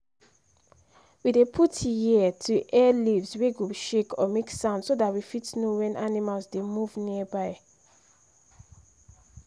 we dey put ear to hear leaves wey go shake or make sound so that we fit know when animals dey move nearby